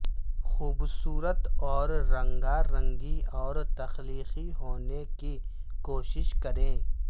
خوبصورت اور رنگارنگی اور تخلیقی ہونے کی کوشش کریں